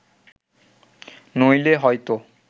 নইলে হয়ত